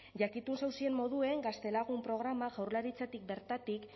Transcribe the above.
jakitun zauzien moduen gaztelagun programa jaurlaritzatik bertatik